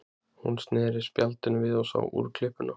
Hún sneri spjaldinu við og sá úrklippuna.